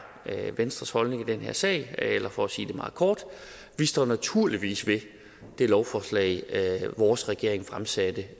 venstres holdning i den her sag eller for at sige det meget kort vi står naturligvis ved det lovforslag vores regering fremsatte